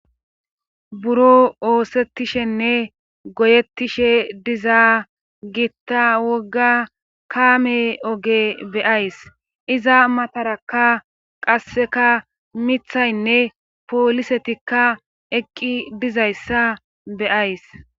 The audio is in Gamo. Buro oosettishenne goyettishe dizaa gitta wogga kaame oge beyays iza matarakka qasseka mithaynne poolisetikka eqqi dizayssa beyays.